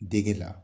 Dege la